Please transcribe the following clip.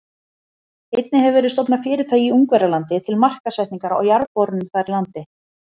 Einnig hefur verið stofnað fyrirtæki í Ungverjalandi til markaðssetningar á jarðborunum þar í landi.